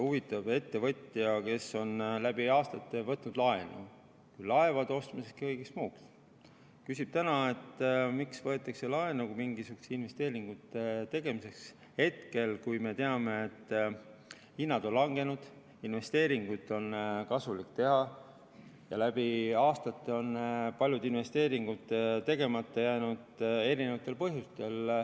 Huvitav, ettevõtja, kes on läbi aastate võtnud laenu, küll laevade ostmiseks, küll kõigeks muuks, küsib täna, miks võetakse laenu mingisuguste investeeringute tegemiseks hetkel, kui me teame, et hinnad on langenud, investeeringuid on kasulik teha ja läbi aastate on paljud investeeringud erinevatel põhjustel tegemata jäänud.